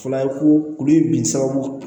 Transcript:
Fula ye ko olu ye bin sababu ye